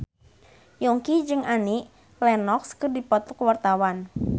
Yongki jeung Annie Lenox keur dipoto ku wartawan